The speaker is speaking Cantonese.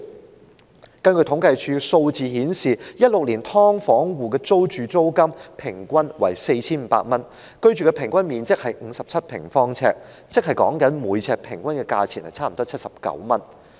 根據政府統計處的數字顯示 ，2016 年"劏房戶"的平均租金為 4,500 元，平均居住面積是57平方呎，即每平方呎平均差不多79元。